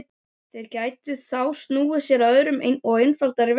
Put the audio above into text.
Þeir gætu þá snúið sér að öðrum og einfaldari verkefnum.